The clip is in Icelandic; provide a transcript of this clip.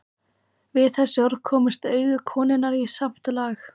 Við þessi orð komust augu konunnar í samt lag.